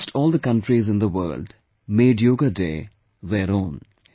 Almost all the countries in the world made Yoga Day their own